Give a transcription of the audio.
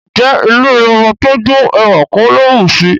Ǹjẹ́ ilẹ̀ ọbà tó jó, èwà kò ló bùṣí?